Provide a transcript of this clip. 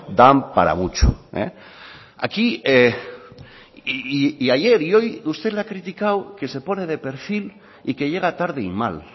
dan para mucho aquí y ayer y hoy usted le ha criticado que se pone de perfil y que llega tarde y mal